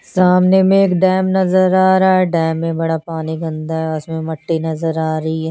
सामने में एक डेम नजर आ रहा हे डेम में बड़ा पानी के अन्दर उसमें मट्टी नजर आ रही हे।